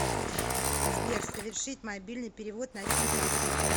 сбер совершить мобильный перевод на сим карту